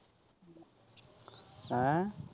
ਹੈਅ।